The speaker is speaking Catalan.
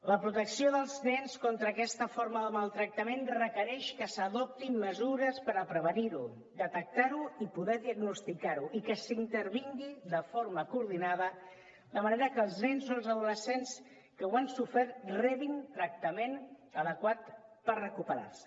la protecció dels nens contra aquesta forma de maltractament requereix que s’adoptin mesures per a prevenir ho detectar ho i poder diagnosticar ho i que s’intervingui de forma coordinada de manera que els nens o els adolescents que ho han sofert rebin tractament adequat per recuperar se